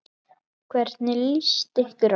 Hvernig lýst ykkur á?